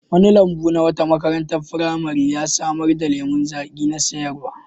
Wani lambu na wata makarantar firamare ya samar da lemon zaƙi na sayarwa.